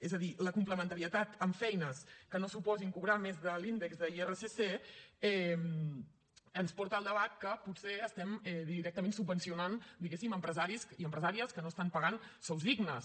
és a dir la complementarietat amb feines que no suposin cobrar més de l’índex d’irsc ens porta al debat que potser estem directament subvencionant diguéssim empresaris i empresàries que no estan pagant sous dignes